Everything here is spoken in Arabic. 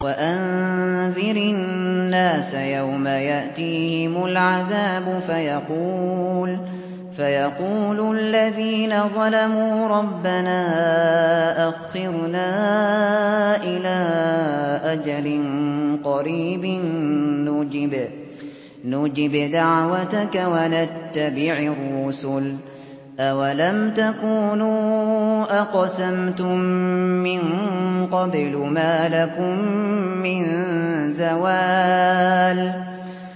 وَأَنذِرِ النَّاسَ يَوْمَ يَأْتِيهِمُ الْعَذَابُ فَيَقُولُ الَّذِينَ ظَلَمُوا رَبَّنَا أَخِّرْنَا إِلَىٰ أَجَلٍ قَرِيبٍ نُّجِبْ دَعْوَتَكَ وَنَتَّبِعِ الرُّسُلَ ۗ أَوَلَمْ تَكُونُوا أَقْسَمْتُم مِّن قَبْلُ مَا لَكُم مِّن زَوَالٍ